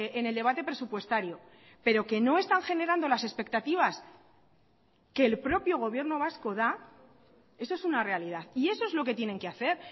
en el debate presupuestario pero que no están generando las expectativas que el propio gobierno vasco da eso es una realidad y eso es lo que tienen que hacer